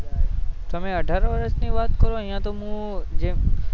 તમે અઢાર વર્ષ ની વાત કરો અહિયાં તો મુ